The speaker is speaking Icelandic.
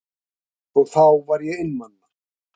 Og þá var ég einmana.